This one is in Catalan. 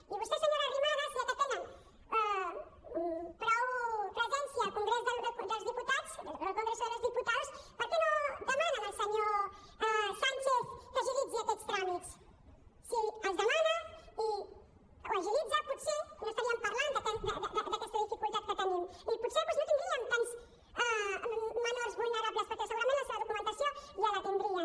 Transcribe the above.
i vostè senyora arrimadas ja que tenen prou presència al congrés dels diputats al congreso de los diputados per què no demanen al senyor sánchez que agilitzi aquests tràmits si els demana i els agilitza potser no estaríem parlant d’aquesta dificultat que tenim i potser doncs no tindríem tants menors vulnerables perquè segurament la seva documentació ja la tindrien